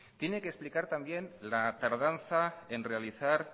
tiene que explicar también la tardanza en realizar